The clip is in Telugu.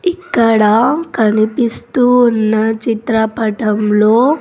ఇక్కడ కనిపిస్తూ ఉన్న చిత్రపటంలో.